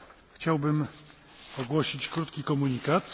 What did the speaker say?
chciałbym ogłosić krótki komunikat.